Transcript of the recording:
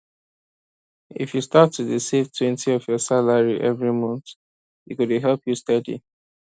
if you start to dey savetwentyof your salary every month e go dey help you steady